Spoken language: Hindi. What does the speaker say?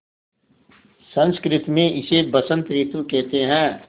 संस्कृत मे इसे बसंत रितु केहेते है